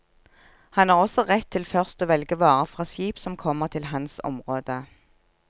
Han har også rett til først å velge varer fra skip som kommer til hans område.